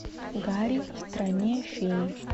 гарри в стране фей